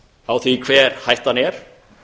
á því hver hættan er